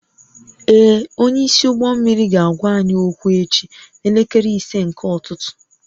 Ee, onyeisi ụgbọ mmiri ga-agwa anyị okwu echi n'elekere ise nke ụtụtụ